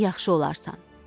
yaxşı olarsan.